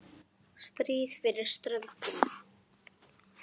Stríð fyrir ströndum.